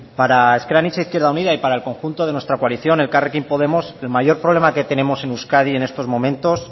para ezker anitza izquierda unida y para el conjunto de nuestra coalición elkarrekin podemos el mayor problema que tenemos en euskadi en estos momentos